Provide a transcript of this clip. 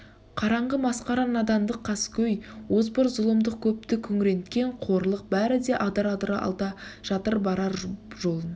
қараңғы масқара надандық қаскөй озбыр зұлымдық көпті күңіренткен қорлық бәрі де адыр-адыр алда жатыр барар жолын